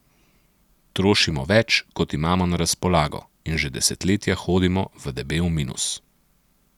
Trošimo več, kot imamo na razpolago, in že desetletja hodimo v debel minus.